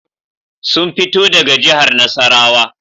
Sun fito daga jihar Nasarawa